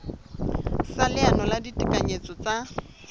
sa leano la ditekanyetso tsa